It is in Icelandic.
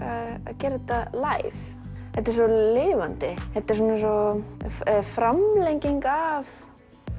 gera þetta læv þetta er svo lifandi þetta er svona eins og framlenging af